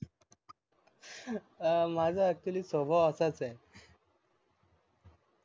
माझ ACTULLY स्वभाव असाच आहे